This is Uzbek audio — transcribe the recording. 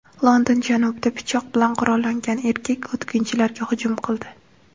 London janubida pichoq bilan qurollangan erkak o‘tkinchilarga hujum qildi.